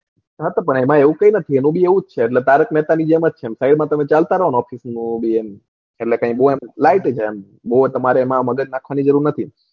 હા તો એમાં એવું કઈ નથી તારક મેહતા ની જેમ છે side માં તમે ચાલતા રો ને office માં ને એમ લાઇગયું જાય એમ બૌ તમારે કઈ મગજ નાખવાની જરૂર નથી.